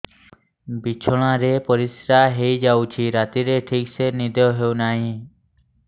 ବିଛଣା ରେ ପରିଶ୍ରା ହେଇ ଯାଉଛି ରାତିରେ ଠିକ ସେ ନିଦ ହେଉନାହିଁ